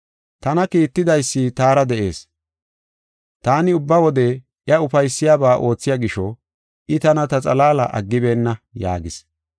Tana kiittidaysi taara de7ees. Taani ubba wode iya ufaysiyabaa oothiya gisho I tana ta xalaala aggibeenna” yaagis.